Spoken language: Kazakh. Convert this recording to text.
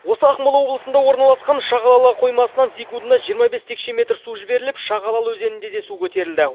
осы ақмола облысында орналасқан шағалалы қоймасынан секундына жиырма бес текше метр су жіберіліп шағалалы өзенінде де су көтерілді